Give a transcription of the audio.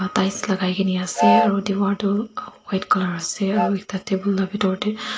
tiles lakaikae nease aro diwar toh white colour ase aro ekta table la bitor tae.